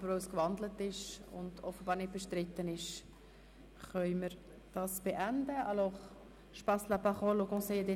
Aber weil die Motion gewandelt und nicht bestritten ist, können wir die Diskussion hier beenden.